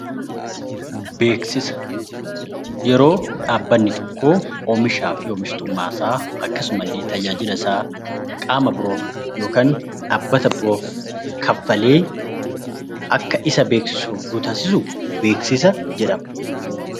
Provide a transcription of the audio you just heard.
Beeksisa: Yeroo dhaabbanni tokko oomishaa fi oomishtummaa isaa akkasuma illee tajaajila isaa qaama biroof yookaan dhaabbata biroof kaffalee akka isa beeeksisu yoo taasisu beeksisa jedhama.